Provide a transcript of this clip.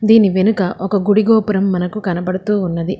దీని వెనుక ఒక గుడి గోపురం మనకు కనబడుతూ ఉన్నది.